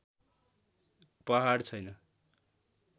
पहाड छैन